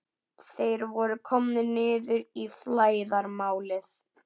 Þeir voru komnir niður í flæðarmálið.